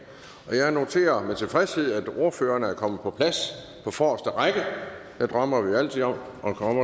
jeg noterer med tilfredshed at ordførerne er kommet på plads på forreste række der drømmer vi jo altid om at komme